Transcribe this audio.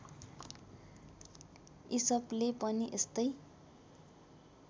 इसपले पनि यस्तै